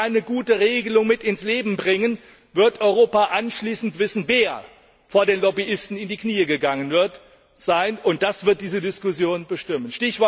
Wenn Sie keine gute Regelung ins Leben rufen, wird Europa anschließend wissen, wer vor den Lobbyisten in die Knie gegangen ist, und das wird diese Diskussion bestimmen!